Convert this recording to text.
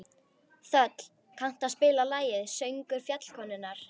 Þöll, kanntu að spila lagið „Söngur fjallkonunnar“?